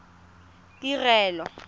tirelo